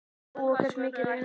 Lóa: Hversu mikið rýrna þær?